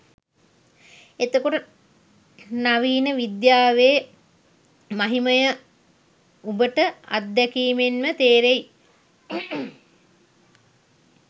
එතකොට නවීන විද්‍යාවේ මහිමය උබට අත්දැකීමෙන්ම තේරෙයි